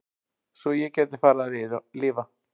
Svo ég gæti farið að lifa.